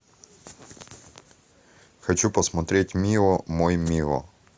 хочу посмотреть мио мой мио